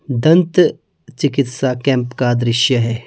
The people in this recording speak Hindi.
दंत चिकित्सा कैंप का दृश्य है।